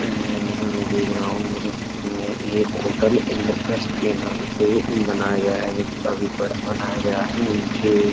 And जो मैं देख रहा हूँ। मेरे सामने एक होटल इंद्रप्रस्थ के नाम से बनाया गया है जो कि काफी बड़ा बनाया गया है। नीचे --